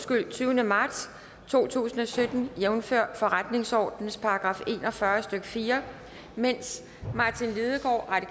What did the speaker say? fra den tyvende marts to tusind og sytten jævnfør forretningsordenens § en og fyrre stykke fire medens martin lidegaard